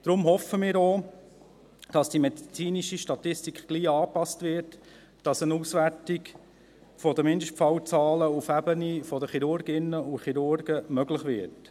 Deswegen hoffen wir auch, dass die medizinische Statistik bald angepasst wird, dass eine Auswertung der Mindestfallzahlen auf der Ebene der Chirurginnen und Chirurgen möglich wird.